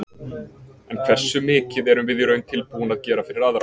En hversu mikið erum við í raun tilbúin að gera fyrir aðra?